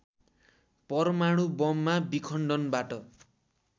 परमाणु बममा विखण्डनबाट